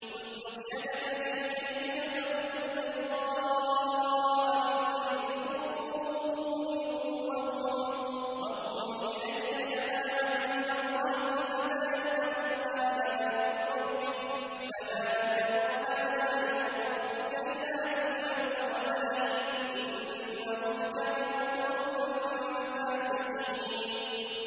اسْلُكْ يَدَكَ فِي جَيْبِكَ تَخْرُجْ بَيْضَاءَ مِنْ غَيْرِ سُوءٍ وَاضْمُمْ إِلَيْكَ جَنَاحَكَ مِنَ الرَّهْبِ ۖ فَذَانِكَ بُرْهَانَانِ مِن رَّبِّكَ إِلَىٰ فِرْعَوْنَ وَمَلَئِهِ ۚ إِنَّهُمْ كَانُوا قَوْمًا فَاسِقِينَ